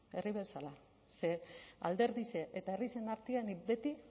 herri bezala ze alderdixe eta herrixen artean nik beti